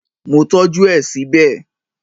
Mo tọ́jú ẹ síbẹ̀